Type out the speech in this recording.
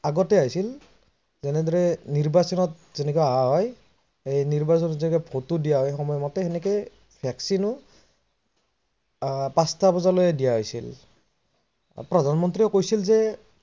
আগতে হৈছিল, যেনেদৰে নিৰ্বাচনত যেনেকৈ অহা হয় সেই নিৰ্বাচনত যেনেকৈ ভোটটো দিয়া হয় সেই সময় মতে তেনেদৰে vaccine পাচটা বজালৈকে দিয়া হৈছিল। প্ৰধানমন্ত্ৰীও কৈছিল যে